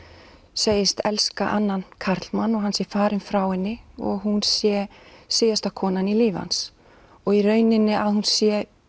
segist elska annan karlmann og hann sé farinn frá henni og hún sé síðasta konan í lífi hans og í rauninni að hún sé